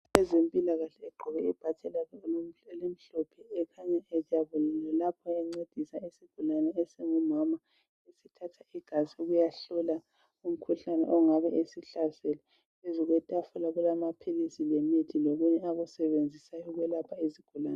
Umuntu wezempilakahle, ogqoke izigqoko zakhe ezimhlophe, Usizana lesigulane, esingumama. Usithatha igazi, ukuyahlola umkhuhlane ongabe umhlasele. Phezu kwetafula kulamaphiliri lokunye, akusebenzisa ukwelapha izigulane.